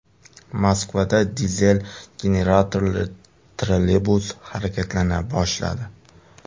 Moskvada dizel generatorli trolleybus harakatlana boshladi.